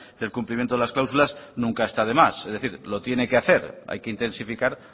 del cumplimiento de las cláusulas nunca está de más es decir lo tiene que hacer hay que intensificar